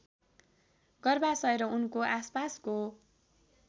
गर्भाशय र उनको आसपासको